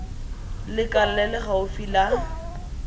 lekala le le gaufi la